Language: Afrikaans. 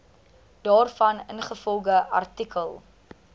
daarvan ingevolge artikel